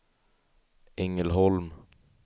Ängelholm